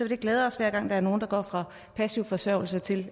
vil glæde os hver gang der er nogle der går fra passiv forsørgelse til